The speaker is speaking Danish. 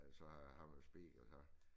Altså har man speed og så